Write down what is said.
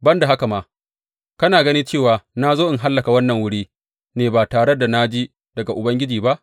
Ban da haka ma, kana gani cewa na zo in hallaka wannan wuri ne ba tare da na ji daga Ubangiji ba?